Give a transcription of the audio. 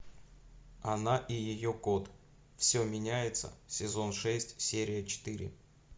она и ее кот все меняется сезон шесть серия четыре